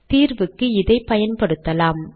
தீர்வுக்கு இதை பயன்படுத்தலாம்